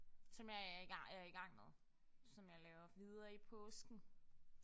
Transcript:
Som jeg er i er i gang med. Som jeg laver videre i påsken